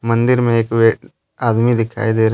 मंदिर में एक आदमी दिखाई दे रहा।